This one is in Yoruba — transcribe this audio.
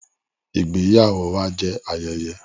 Ìgbéyàwó wà jẹ ayẹyẹ.